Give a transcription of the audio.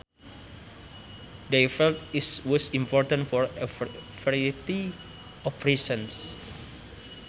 They felt it was important for a variety of reasons